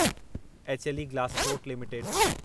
HLE Glascoat limited